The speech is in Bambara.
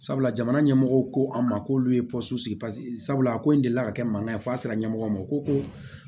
Sabula jamana ɲɛmɔgɔw ko an ma k'olu ye sigi sabula ko in delila ka kɛ mankan ye fo a sera ɲɛmɔgɔw ma o ko ko